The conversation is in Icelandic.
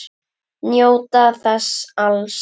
Njóta þess alls.